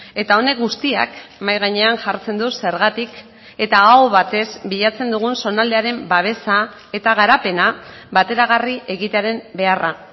eta honek guztiak mahai gainean jartzen du zergatik eta aho batez bilatzen dugun zonaldearen babesa eta garapena bateragarri egitearen beharra